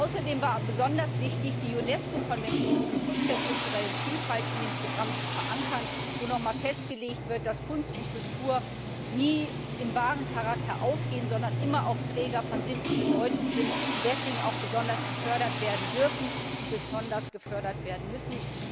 Außerdem war besonders wichtig, die UNESCO Konvention zum Schutz der kulturellen Vielfalt in dem Programm zu verankern, in der noch einmal festgelegt wird, dass Kunst und Kultur nie allein als Ware betrachtet werden dürfen, sondern immer auch Träger von Sinn und Bedeutung sind und deswegen auch besonders gefördert werden dürfen und besonders gefördert werden müssen.